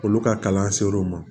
Olu ka kalan ser'u ma